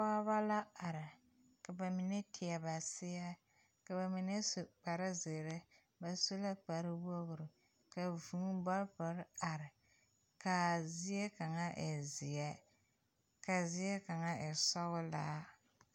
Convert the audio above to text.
Pɔgeba la are ka ba mine teɛ ba seɛ ka ba mine su kparezeere ba su la kparewogri ka vūū bɔlpere are k,a zie kaŋa e zeɛ ka zie kaŋa e sɔglaa.